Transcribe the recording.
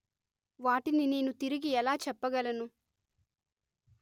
వాటిని నేను తిరిగి ఎలా చెప్పగలను